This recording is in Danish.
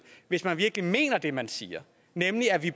hvis man virkelig mener det man siger nemlig at vi